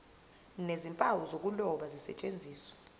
nezimpawu zokuloba zisetshenziswe